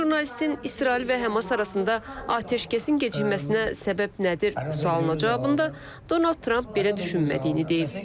Jurnalistin İsrail və Həmas arasında atəşkəsin gecikməsinə səbəb nədir sualına cavabında Donald Tramp belə düşünmədiyini deyib.